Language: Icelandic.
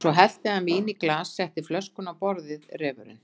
Svo hellti hann víni í glas og setti flöskuna á borðið, refurinn.